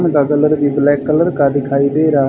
इनका कलर भी black colour का दिखाई दे रहा--